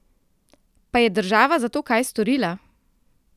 Pa je država za to kaj storila?